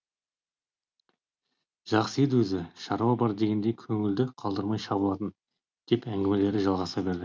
жақсы еді өзі шаруа бар дегенде көңіліңді қалдырмай шабылатын деп әңгімелері жалғаса берді